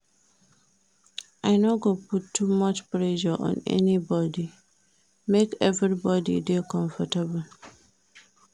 I no go put too much pressure on anybodi, make everybodi dey comfortable.